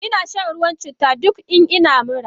Inashan ruwan citta duk in ina mura.